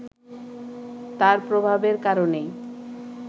তার প্রভাবের কারণেই